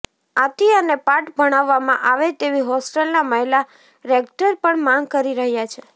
આથી અને પાઠ ભણાવવામાં આવે તેવી હોસ્ટેલના મહિલા રેક્ટર પણ માંગ કરી રહ્યા છે